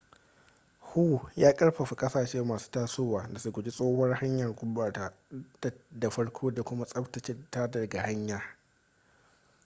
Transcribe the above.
hu ya karfafa kasashe masu tasowa da su guji tsohuwar hanyar gurbatar da farko da kuma tsabtace ta daga baya